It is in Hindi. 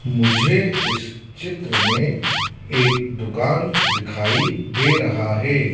मुझे इस चित्र में एक दुकान दिखाई दे रहा है।